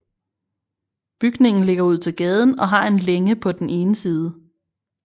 Bygningen ligger ud til gaden og har en længe på den ene side